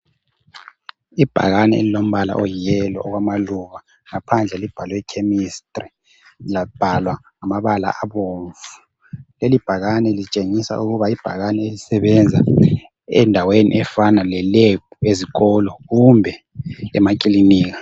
Ibhakani elilombala oyi yellow owamaluba, ngaphandle libhalwe chemistry labhalwa ngamabala abomvu, lelibhakani litshengisa ukuba libhakane elisebenza endaweni efana le lab ezikolo kumbe emakilinika